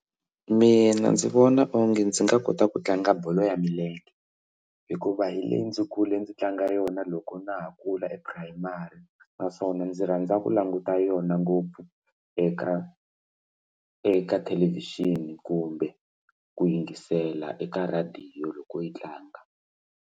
Mina ndzi vona onge ndzi nga kota ku tlanga bolo ya milenge hikuva hi leyi ndzi kule ndzi tlanga yona loko na ha kula e-primary naswona ndzi rhandza ku languta yona ngopfu eka eka thelevhixini kumbe ku yingisela eka rhadiyo loko yi tlanga.